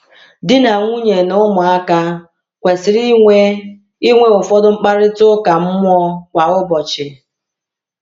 Di na nwunye na ụmụaka kwesịrị inwe inwe ụfọdụ mkparịta ụka mmụọ kwa ụbọchị.